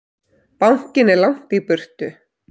Bankinn er langt í burtu.